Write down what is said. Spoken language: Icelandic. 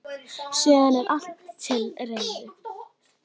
Síðan er allt til reiðu.